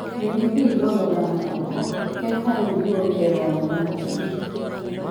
Ring idhi igol oganda oko eka iduogi e romo mar chadi.